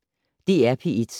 DR P1